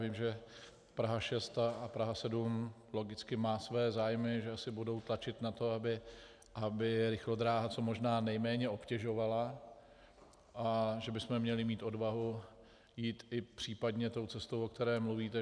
Vím, že Praha 6 a Praha 7 logicky má své zájmy, že asi budou tlačit na to, aby rychlodráha co možná nejméně obtěžovala, a že bychom měli mít odvahu jít i případně tou cestou, o které mluvíte.